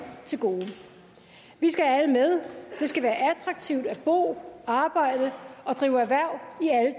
til gode vi skal have alle med det skal være attraktivt at bo arbejde og drive erhverv